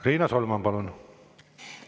Riina Solman, palun!